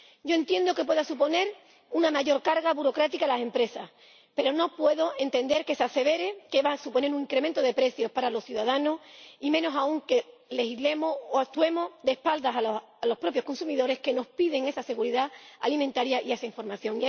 Yo entiendo que pueda suponer una mayor carga burocrática para las empresas, pero no puedo entender que se asevere que va a suponer un incremento de precios para los ciudadanos, y menos aún que legislemos o actuemos de espaldas a los propios consumidores, que nos piden esa seguridad alimentaria y esa información.